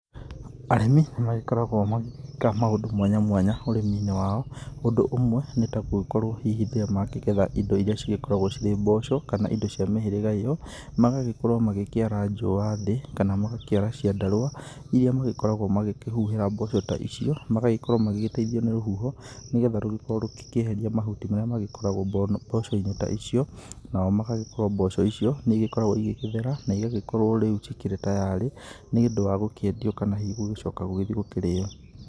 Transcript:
Arĩmi nĩ magĩkoragwo magĩka maũndũ mwanya mwanya ũrĩminĩ wao, ũndũ ũmwe nĩ tagũgĩkorwo ta hihi rĩrĩa makĩgetha indo iria cigĩkoragwo cirĩ mboco kana indo cia mĩhĩrĩga ĩyo, magagĩkorwo makĩara njũa thĩ kana magakĩara ciandarũa iria magĩkoragwo makĩ huhĩra mboco ta icio, magagĩkorwo magĩteithio nĩ rũhuho nĩgetha rũgĩkorwo rũkĩeheria mahuti marĩa magĩkoragwo mbocoinĩ ta icio nao magagĩkorwo mboco ta icio nĩ igĩkoragwo igĩthera, na igagĩkorwo rĩu ikĩrĩ tayarĩ nĩ ũndũ wa gũkĩendio kana hihi gũgĩthie gũkĩrĩyo.